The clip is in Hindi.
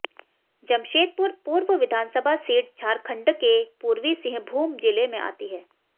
जमशेदपुर पूर्व विधानसभा सीट झारखंडके पूर्वी सिंहभूम जिले में आती है